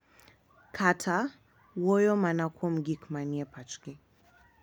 Kata, wuoyo mana kuom gik ma ni e pachgi.